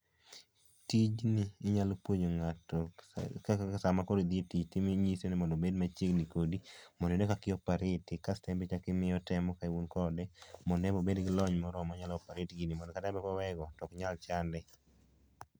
Tijni inyalo puonjo ng'ato ka kaka saa ma koro idhi etich inyise ni obed machiegni kodi mondo ine kaka i operate kasto enbe imie otemo ka un kode mondo enbe obed gi lony moromo ma onyalo oeparate gini mondo kata koweyego oknyal chande